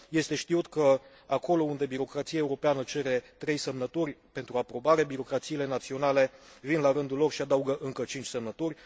Este știut că acolo unde birocrația europeană cere trei semnături pentru aprobare, birocrațiile naționale vin la rândul lor și adaugă încă cinci semnături.